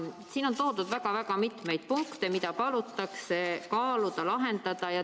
Siin on toodud väga mitmeid punkte, mida palutakse kaaluda ja lahendada.